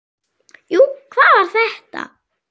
Jú, hvað var þetta?